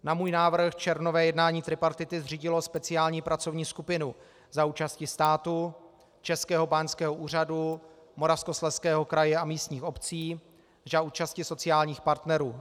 Na můj návrh červnové jednání tripartity zřídilo speciální pracovní skupinu za účasti státu, Českého báňského úřadu, Moravskoslezského kraje a místních obcí, za účasti sociálních partnerů.